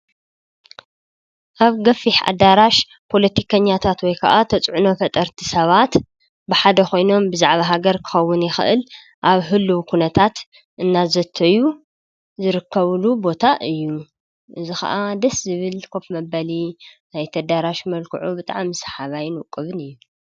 ኣብ ገፊሕ ኣዳራሽ ፖለቲከኛታት ወይ ከዓ ተፅዕኖ ፈጠርቲ ሰባት ብሓደ ኮይኖም ብዛዕባ ሃገር ክከዉን ይክእል ኣብ ህልዉ ኩነታት እናዘተዩ ዝርከብሉ ቦታ እዩ። እዚ ከዓ ደስ ዝብል ኮፍ መበሊ ናይቲ ኣዳራሽ መልክዑ ብጣዕሚ ሰሓባይን ቆንጆ እዩ ።